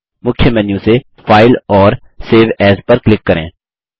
मुख्य मेन्यू से फाइल और सेव एएस पर क्लिक करें